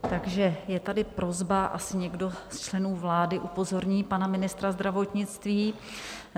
Takže je tady prosba - asi někdo z členů vlády upozorní pana ministra zdravotnictví.